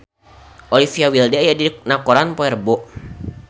Olivia Wilde aya dina koran poe Rebo